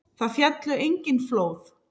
Þar féllu engin flóð.